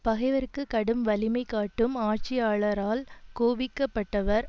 பகைவர்க்குக் கடும் வலிமை காட்டும் ஆட்சியாளரால் கோபிக்கப்பட்டவர்